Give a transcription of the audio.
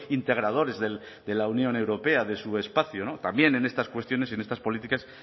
integradores de la unión europea de su espacio no también en estas cuestiones y en estas políticas